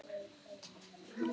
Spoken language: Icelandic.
Hvað sögðu mamma og pabbi?